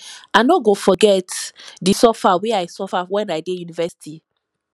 i no go forget di suffer wey i suffer wen i dey university